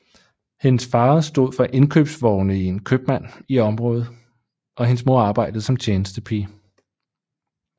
Hendes far stod for indkøbsvogne i en købmand i området og hendes mor arbejdede som tjenestepige